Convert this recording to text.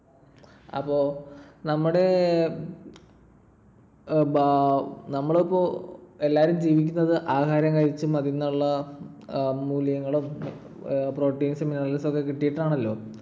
അപ്പൊ നമ്മുടെ നമ്മളിപ്പോ എല്ലാരും ജീവിക്കുന്നത് ആഹാരം കഴിച്ചും അതീന്നുള്ള മൂലകങ്ങളും proteins ഉം minerals ഉം ഒക്കെ കിട്ടീട്ടാണല്ലോ.